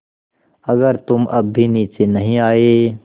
अगर तुम अब भी नीचे नहीं आये